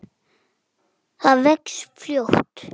Það vex fljótt.